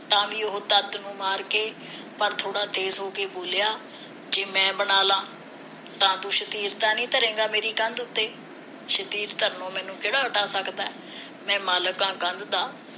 ਤਾ ਵੀ ਉਹ ਨੂੰ ਮਾਰ ਕੇ ਪਰ ਥੋੜਾ ਦੇਰ ਹੋ ਬੋਲਿਆ ਜੇ ਮੈਂ ਬਣਾ ਲਾ ਤਾ ਤੂੰ ਸ਼ਤੀਰ ਤਾ ਨੀ ਧਰੇਗਾ ਮੇਰੀ ਕੰਧ ਉਤੇ ਸ਼ਤੀਰ ਧਰਨੋ ਮੈਨੂੰ ਕਿਹੜਾ ਅੱਡ ਸਕਦਾ ਮੈਂ ਮਾਲਕ ਹਾਂ ਕੰਧ ਦਾ